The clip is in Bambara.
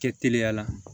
Kɛ teliya la